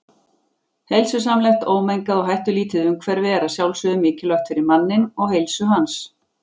Heilsusamlegt, ómengað og hættulítið umhverfi er að sjálfsögðu mikilvægt fyrir manninn og heilsu hans.